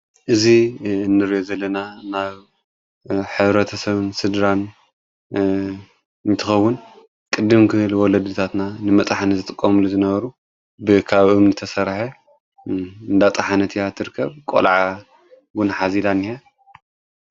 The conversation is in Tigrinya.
እዙ እንር ዘለና ናብ ኅብረተሰብን ስድራን ይትኸዉን፤ ቅድምክል ወለድታትና ንመጥሕነ ዘጥቆምሉ ዝነበሩ ብኻብኦም ንተሠርሐ እዳጥሓነት እያ። ትርከብ ቈልዓ ጕን ኃዚዳን እዩ።